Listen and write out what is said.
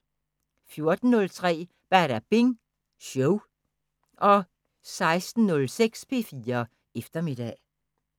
14:03: Badabing Show 16:06: P4 Eftermiddag